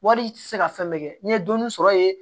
Wari i tɛ se ka fɛn bɛɛ kɛ n'i ye dɔɔnin sɔrɔ yen